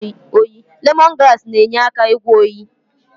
Lemongrass na-enyere aka ịgwọ oyi.